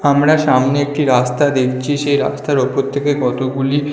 আমরা সামনে একটি রাস্তা দেখছি সেই রাস্তার ওপর থেকে কতগুলি--